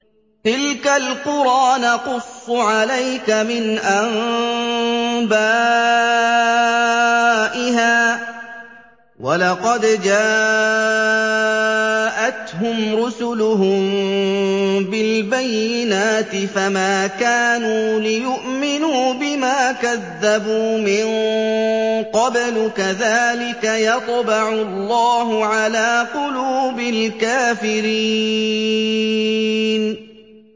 تِلْكَ الْقُرَىٰ نَقُصُّ عَلَيْكَ مِنْ أَنبَائِهَا ۚ وَلَقَدْ جَاءَتْهُمْ رُسُلُهُم بِالْبَيِّنَاتِ فَمَا كَانُوا لِيُؤْمِنُوا بِمَا كَذَّبُوا مِن قَبْلُ ۚ كَذَٰلِكَ يَطْبَعُ اللَّهُ عَلَىٰ قُلُوبِ الْكَافِرِينَ